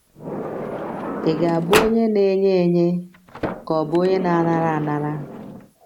Ị̀ Ga - abụ Onye Na - enye Enye Ka Ọ Bụ Onye Na - anara Anara?